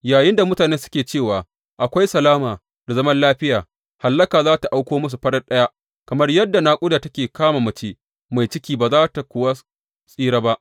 Yayinda mutane suke cewa, Akwai salama da zaman lafiya, hallaka za tă auko musu farat ɗaya, kamar yadda naƙuda take kama mace mai ciki, ba za su kuwa tsira ba.